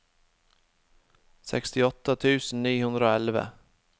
sekstiåtte tusen ni hundre og elleve